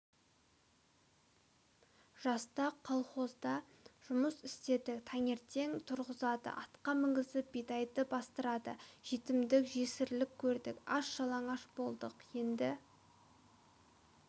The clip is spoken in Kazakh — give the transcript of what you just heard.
жаста колхозда жұмыс істедік таңертең тұрғызады атқа мінгізіп бидайды бастырады жетімдік жесірлік көрдік аш-жалаңаш болдық енді